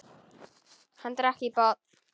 Hann drakk í botn.